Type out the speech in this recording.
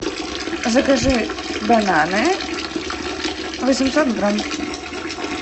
закажи бананы восемьсот грамм